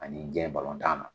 Ani jɛn na